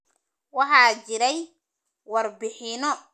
Waxaa jiray warbixino badan oo ku saabsan musuqmaasuq.